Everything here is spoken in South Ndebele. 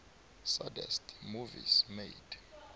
saddest movies made